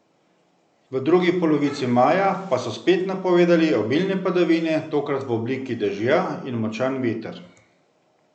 V drugi polovici maja pa so spet napovedali obilne padavine, tokrat v obliki dežja, in močan veter.